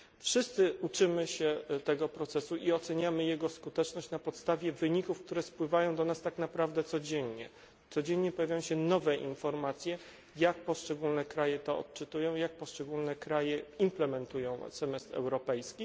Wszyscy uczymy się tego procesu i oceniamy jego skuteczność na podstawie wyników, które napływają do nas tak naprawdę codziennie, codziennie pojawiają się nowe informacje, jak poszczególne kraje to odczytują i jak poszczególne kraje implementują semestr europejski.